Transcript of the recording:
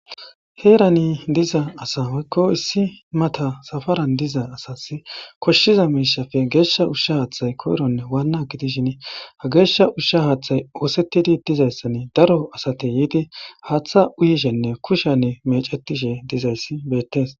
heerani diza asa waykko issi mata safaran diza asas koshshiza miishafe geeshsha ushsha haaththay koyronne waannagi dishin ha geeshsha ushsha haaththay oosettidi dizayssan daro asate yiidi haaththa uyishenne kushanne mecetishe dizayssi beettes